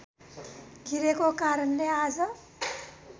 गिरेको कारणले आज